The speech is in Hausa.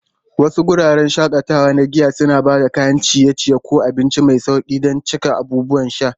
Wasu wuraren shakatawa na giya suna ba da kayan ciye-ciye ko abinci mai sauƙi don cika abubuwan sha.